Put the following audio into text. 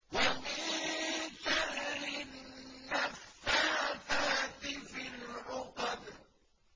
وَمِن شَرِّ النَّفَّاثَاتِ فِي الْعُقَدِ